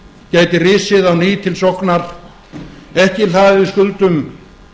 gæti risið á ný til sóknar ekki hlaðið skuldum